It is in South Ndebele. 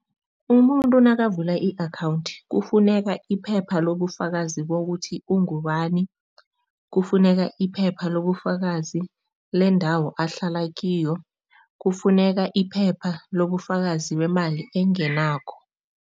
Umuntu nakavula i-akhawundi, kufuneka iphepha lobufakazi bokuthi ungubani, kufuneka iphepha lobufakazi lendawo ahlala kiyo, kufuneka iphepha lobufakazi bemali engenako.